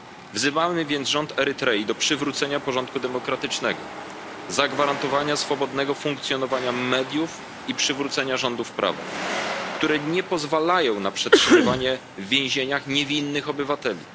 Wzywamy więc rząd Erytrei do przywrócenia porządku demokratycznego, zagwarantowania swobodnego funkcjonowania mediów i przywrócenia rządów prawa, które nie pozwalają na przetrzymywanie w więzieniach niewinnych obywateli.